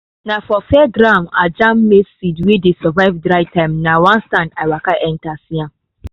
na for fairground i jam maize seed wey dey survive dry time na one stand i waka enter see am.